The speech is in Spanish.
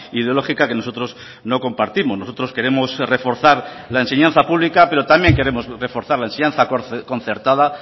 ideológica que nosotros no compartimos nosotros queremos reforzar la enseñanza pública pero también queremos reforzar la enseñanza concertada